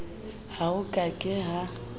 ha ho ka ke ha